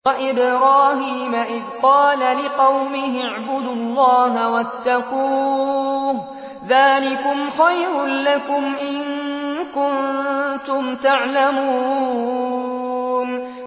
وَإِبْرَاهِيمَ إِذْ قَالَ لِقَوْمِهِ اعْبُدُوا اللَّهَ وَاتَّقُوهُ ۖ ذَٰلِكُمْ خَيْرٌ لَّكُمْ إِن كُنتُمْ تَعْلَمُونَ